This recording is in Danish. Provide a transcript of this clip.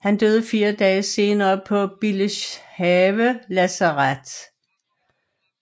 Han døde fire dage senere på Billeshave Lazaret